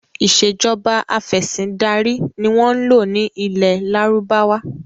Ìsèjọba afẹ̀sindarí ni wọn ń lò ní ilẹ́ Lárúbáwá